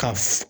Ka f